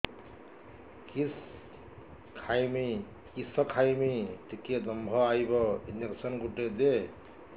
କିସ ଖାଇମି ଟିକେ ଦମ୍ଭ ଆଇବ ଇଞ୍ଜେକସନ ଗୁଟେ ଦେ